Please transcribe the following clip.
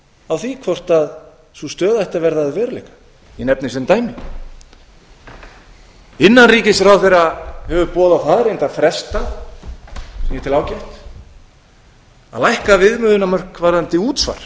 á því hvort sú stöð ætti að verða að veruleika ég nefni sem dæmi innanríkisráðherra hefur boðað það reyndar frestað sem ég tel ágætt að lækka viðmiðunarmörk varðandi útsvar